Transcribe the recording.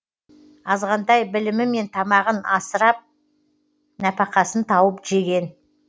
азғантай білімімен тамағын асырап нәпақасын тауып жеген